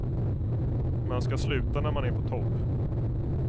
Man ska sluta när man är på topp.